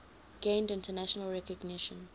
gained international recognition